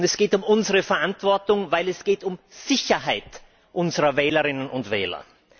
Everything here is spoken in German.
Es geht um unsere Verantwortung, denn es geht um Sicherheit unserer Wählerinnen und Wähler.